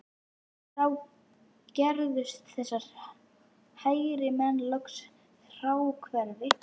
Þá gerðust þessir hægrimenn loks fráhverfir